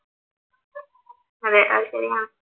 അതെ അത് ശരിയാണ്